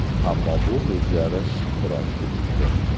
Ammo bu o‘zgarish biroz kechikdi.